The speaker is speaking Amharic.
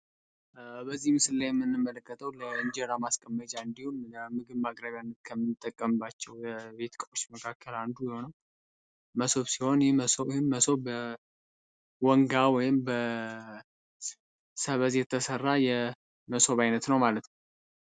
በዚህ ምስላይ ምንመለከተው ለእንጀራ ማስቀመጅ አንዲሁን ለምግብ ማቅረቢያነት ከምንጠቀምባቸው በቤት እቃዎች መካከል አንዱ ሲሆን መሰብ ሲሆን መሰብ በወንጋ ወይም በሰበዝ የተሠራ የመሶብ ዓይነት ነው ማለት ነው።